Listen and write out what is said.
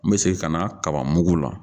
N bɛ segin ka na kaba mugu la